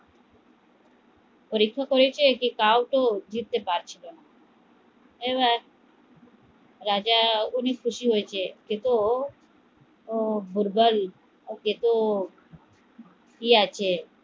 পরীক্ষা করেছে কেউ তো জিততে পারছিলো না এবার রাজা অনেক খুশি হয়েসে সে তো দুৰ্বল কি আছে